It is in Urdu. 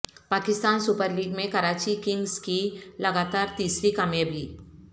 پاکستان سپر لیگ میں کراچی کنگز کی لگاتار تیسری کامیابی